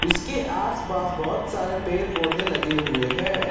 इसके आस पास बहोत सारे पेड़ पौधे लगे हुए हैं ।